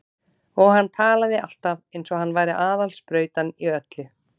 Og hann talaði alltaf eins og hann væri aðal sprautan í öllu.